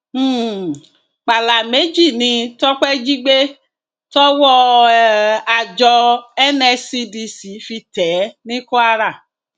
um pàlà méjì ni tọpẹ jí gbé tọwọ um àjọ nscdc fi tẹ ẹ ní kwara